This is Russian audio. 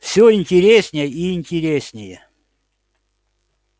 всё интереснее и интереснее